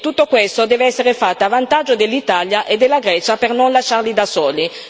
Tutto questo deve essere fatto a vantaggio dell'Italia e della Grecia, per non lasciarle da sole.